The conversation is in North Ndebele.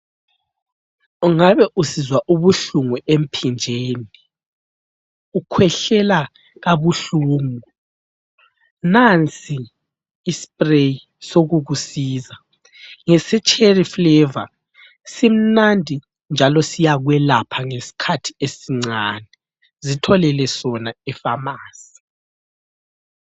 Ungabe usizwa ubuhlungu emphinjeni, ukhwehlela kabuhlungu nansi ispray sokukusiza. Ngesecherry flavour simnandi njalo siyakwelapha ngesikhathi esincane. Zitholele sona epharmacy.